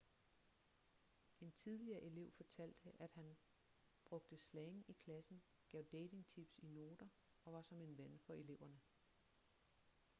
en tidligere elev fortalte at han 'brugte slang i klassen gav dating-tips i noter og var som en ven for eleverne.'